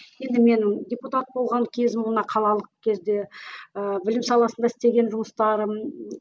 енді менің депутат болған кезім қалалық кезде ыыы білім саласында істеген жұмыстарым